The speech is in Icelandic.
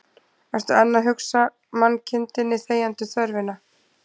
Ertu enn að hugsa mannkindinni þegjandi þörfina